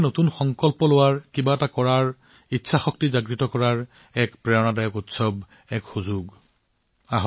নতুন সংকল্প গ্ৰহণ কৰা কিবা কৰাৰ ইচ্ছা প্ৰদৰ্শন কৰা অনুপ্ৰেৰণাদায়ক হোৱাটো দেশৰ বাবে এক অনুপ্ৰেৰণাদায়ক উৎসৱ